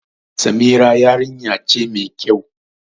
Samira yarinya ce ma kyau